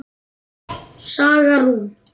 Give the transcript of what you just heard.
Saga Rún.